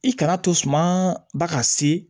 I kana to suma ba ka se